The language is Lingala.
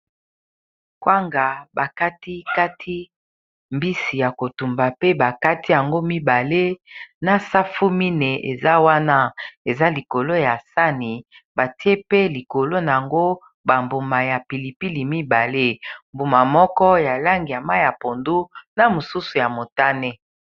Kwanga bakati kati mbisi ya kotumba pe bakati yango mibale na safu mineyi eza wana eza likolo ya sani batie pe likolo na yango bambuma ya pilipili mibale mbuma moko ya lange ya mayi ya pondu na mosusu ya motane